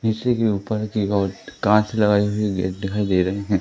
शीशे के ऊपर की ओर कांच लगायी हुई गेट दिखाई दे रही हैं।